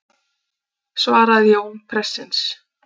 svaraði Jón prestsins.